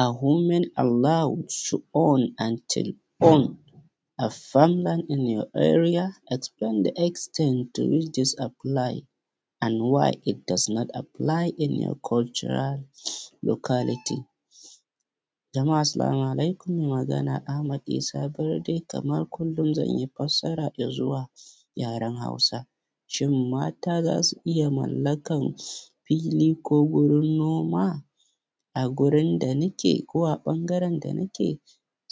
Are women allowed to own a land or to own a farmland in your area, explain the extent to which these applies why it does not apply in your cultural locality? Jama’a asalamu alaikum, mai magana Ahmad Isa Barde, kamar kullum zan yi fassara ga zuwa yaren Hausa. Shin mata za su iya mallakan fili ko gurin noma a gurin da nake ko a ɓangaren da nake?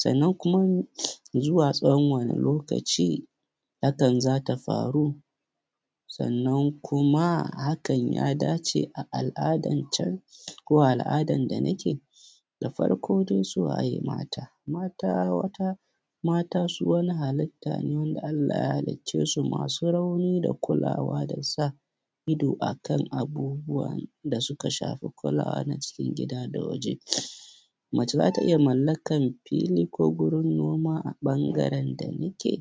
Sannan kuma zuwa tsawon wane lokaci hakan za ta faru, sannan kuma hakan ya dace a al’adan can ko a al’adan da nake? Da farko dai su waye mata? Mata, mata, mata su wani halitta ne da Allah ya halicce su masu rauni da kulawa da sa ido akan abubuwan da suka shafi kulawa na cikin gida da waje. Mace za ta iya mallakan fili ko gurin noma a ɓangaren da nike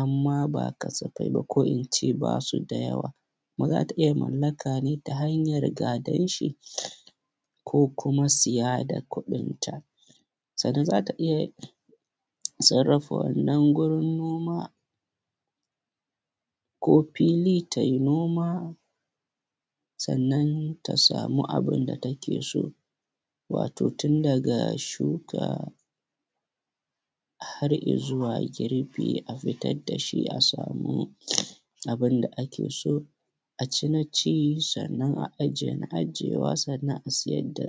amma ba kasafai ba ko ince ba su da yawa kuma za ta iya mallaka ne ta hanyar gadan shi ko kuma siya da kuɗin ta. Sannan za ta iya sarrafa wannan gurin noma ko fili ta yi noma sannan ta samu abin da take so, wato tun daga shuka har izuwa girbi a fitar da shi a samu abin da ake so, a ci na ci, sannan a ajiye na ajiyewa, sannan a siyar da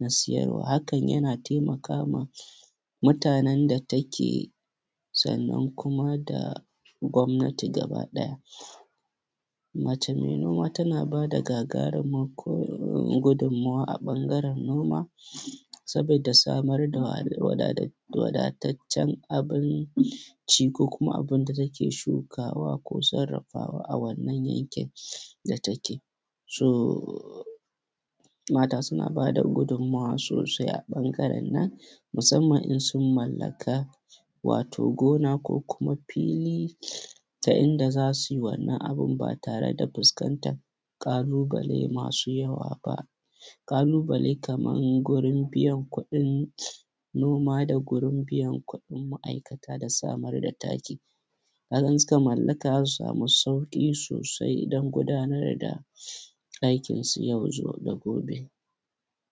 na siyarwa. Hakan yana taimaka ma mutanen da take sannan kuma da gwamnati gaba ɗaya. Mace mai noma tan aba da gagarumin gudummawa a ɓangaren noma sabida samar da wadataccen abinci ko kuma abin da take shukawa ko sarrafawa a wannan yankin da take. So, mata suna ba da gudummawa sosai a ɓangaren nan, musamman in sun mallaka wato gona ko kuma fili, ta inda za su yi wannan abin ba tare da fuskantan ƙalubale masu yawa ba, ƙalubale kaman gurin biyan kuɗin noma da gurin biyan kuɗin ma’aikata da samar taki, ka ga in suka mallaka za su samu sauƙi sosai don gudanar da aikin yau zu da gobe.